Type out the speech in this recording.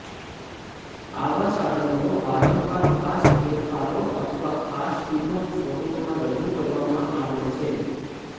આવા સાધનો વારંવાર ખાસ ફેરફારો અથવા ખાસ ટીમો સ્વરૂપમાં રજૂ કરવામાં આવે છે